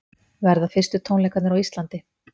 Verða fyrstu tónleikarnir á Íslandi